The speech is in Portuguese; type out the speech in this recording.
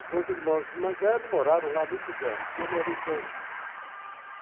Os meus irmãos mais velhos moraram lá muitos anos, eu morei dois.